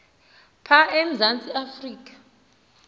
pha emzantsi afrika